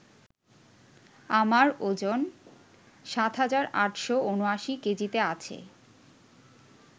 আমার ওজন ৭৮,৭৯ কেজিতে আছে